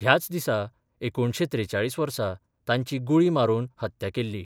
ह्याच दिसा एकुणशे त्रेचाळीस वर्सा तांची गुळी मारून हत्या केल्ली.